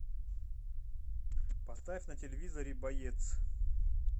поставь на телевизоре боец